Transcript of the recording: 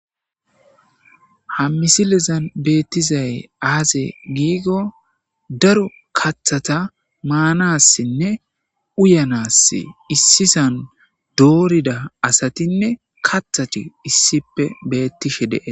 Ha misilezan beettizay aaze giikko daro kaththata maanassinne uyyaanass issisan doorida asatinne kaththati issippe bettishe de'es